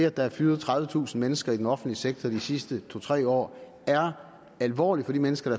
at der er fyret tredivetusind mennesker i den offentlige sektor i de sidste to tre år er alvorligt for de mennesker